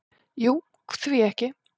"""Jú, því ekki?"""